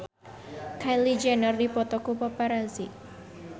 Kylie Jenner dipoto ku paparazi